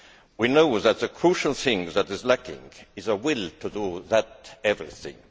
We know that the crucial thing that is lacking is a will to do that everything'.